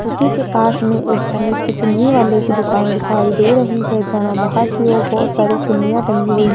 उसी के पास में एक तनिष्क चुन्नी वाले की दुकान दिखाई दे रही है जहां बाहर की ओर बहोत सारी चुनियाँ टंगी हुई --